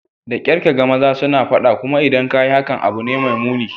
Da kyar ka ga maza suna fada, kuma idan ka yi hakan, abu ne mai muni.